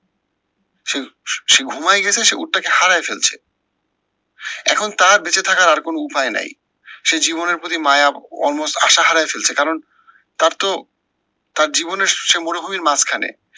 সে সে ঘুমায় গেছে সে উটটাকে হারায় ফেলছে। এখন তার বেঁচে থাকার আর কোনো উপায় নাই। সে জীবনের প্রতি মায়া almost আশা হারায় ফেলছে কারণ, তার তো তার জীবনের সে মরুভূমির মাঝখানে